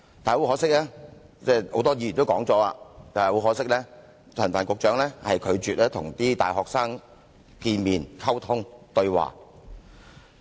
不過，很可惜，很多議員已經提及，陳帆局長拒絕跟大學生見面溝通和對話。